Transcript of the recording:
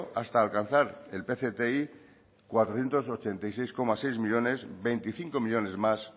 hasta alcanzar el pcti cuatrocientos ochenta y seis coma seis millónes veinticinco millónes más